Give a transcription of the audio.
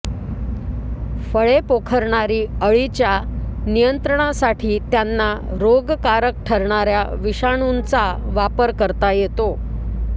फळे पोखरणारी अळीच्या नियंत्रणासाठी त्यांना रोगकारक ठरणाऱ्या विषाणूचां वापर करता येतो